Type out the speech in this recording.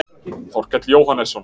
Þorkell Jóhannesson.